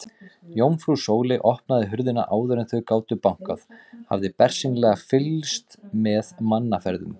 Jómfrú Sóley opnaði hurðina áður en þau gátu bankað, hafði bersýnilega fylgst með mannaferðum.